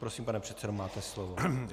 Prosím, pane předsedo, máte slovo.